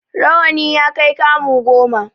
Rawani ya kai kamu goma.